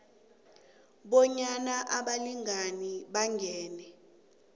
bonyana abalingani bangene